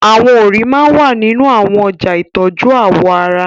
Awọn òrí máà wà ninu awọn ọja itọju awọ ara